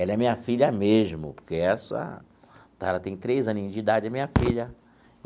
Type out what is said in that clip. Ela é minha filha mesmo, porque essa está tem três aninhos de idade, é minha filha.